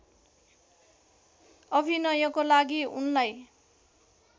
अभिनयको लागि उनलाई